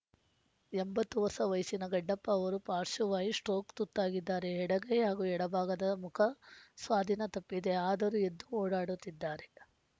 ಎಂಬತ್ತು ವರ್ಷ ವಯಸ್ಸಿನ ಗಡ್ಡಪ್ಪ ಅವರು ಪಾಶ್ರ್ವವಾಯು ಸ್ಟ್ರೋಕ್ಗೆ ತುತ್ತಾಗಿದ್ದಾರೆ ಎಡಗೈ ಹಾಗೂ ಎಡಭಾಗದ ಮುಖ ಸ್ವಾಧೀನ ತಪ್ಪಿದೆ ಆದರೂ ಎದ್ದು ಓಡಾಡುತ್ತಿದ್ದಾರೆ